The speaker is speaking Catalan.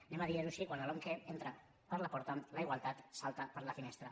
diguem ho així quan la lomqe entra per la porta la igualtat salta per la finestra